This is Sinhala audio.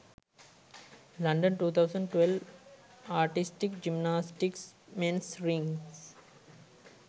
london 2012 artistic gymnastics mens rings